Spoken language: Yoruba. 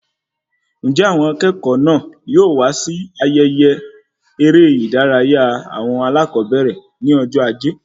Njẹ àwọn akẹ́kọ̀ọ́ náà yóò wá sí ayẹyẹ eré ìdárayá awọn alakobere ní ọjọ ajé?